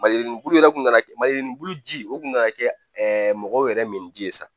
Maliku bulu yɛrɛ kun nana kɛ maliyɛnbulu ji o kun nana kɛ mɔgɔw yɛrɛ min ji ye sa